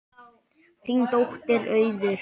Þín dóttir Auður.